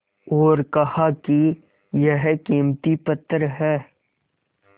और कहा कि यह कीमती पत्थर है